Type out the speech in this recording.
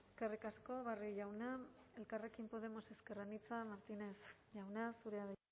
eskerrik asko barrio jauna elkarrekin podemos ezker anitza martínez jauna zurea da